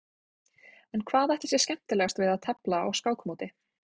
En hvað ætli sé skemmtilegast við að tefla á skákmóti?